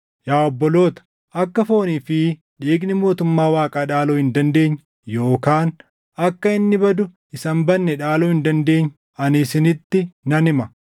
Yaa obboloota, akka foonii fi dhiigni mootummaa Waaqaa dhaaluu hin dandeenye yookaan akka inni badu isa hin badne dhaaluu hin dandeenye ani isinitti nan hima.